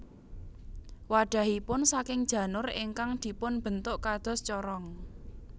Wadhahipun saking janur ingkang dipun bentuk kados corong